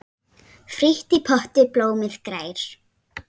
Frítt í potti blómið grær.